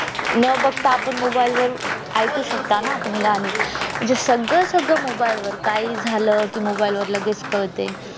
न बगता आपण mobile वर ऐकू शकता आपण गाणे म्हणजे सगळं सगळं mobile वर काही झालं तर mobile वर लगेच कडते